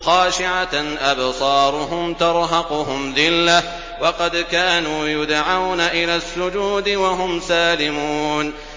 خَاشِعَةً أَبْصَارُهُمْ تَرْهَقُهُمْ ذِلَّةٌ ۖ وَقَدْ كَانُوا يُدْعَوْنَ إِلَى السُّجُودِ وَهُمْ سَالِمُونَ